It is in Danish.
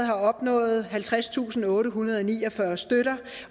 har opnået halvtredstusinde og ottehundrede og niogfyrre støtter